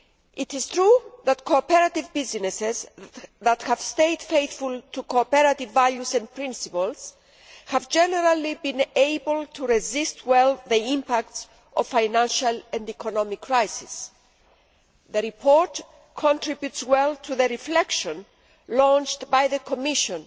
It is true that cooperative businesses that have stayed faithful to cooperative values and principles have generally been able to resist well the impacts of the financial and economic crisis. The report contributes well to the reflection launched by the Commission